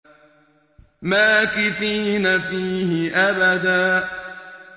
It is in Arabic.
مَّاكِثِينَ فِيهِ أَبَدًا